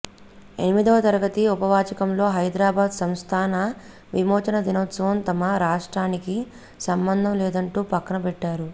ఎనిమిదవ తరగతి ఉపవాచకంలో హైదరాబాద్ సంస్థాన విమోచన దినోత్సవం తమ రాష్ర్టానికి సంబంధం లేదంటూ పక్కనబెట్టారు